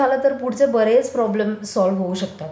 ते झालं तर औढचे बरेच प्रॉब्लेम्स सोल्व होऊ शकतात.